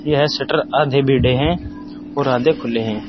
यह शटर आधे भिड़े हैं और आधे खुले हैं।